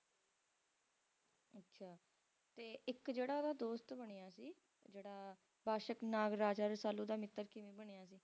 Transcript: ਅੱਛਾ ਤੇ ਇੱਕ ਜਿਹੜਾ ਉਹਦਾ ਦੋਸਤ ਬਣਿਆ ਸੀ ਜਿਹੜਾ Takshak Nagraj Rasalu ਦਾ ਮਿੱਤਰ ਕਿਵੇਂ ਬਣਿਆ ਸੀ